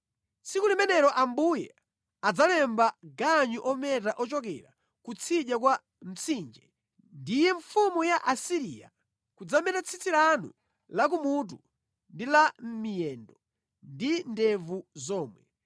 Tsiku limenelo Ambuye adzalemba ganyu ometa ochokera kutsidya kwa Mtsinje, ndiye mfumu ya ku Asiriya, kudzameta tsitsi lanu la ku mutu ndi la mʼmiyendo ndi ndevu zomwe.